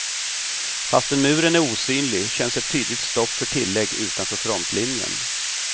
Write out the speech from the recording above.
Fastän muren är osynlig känns ett tydligt stopp för tillägg utanför frontlinjen.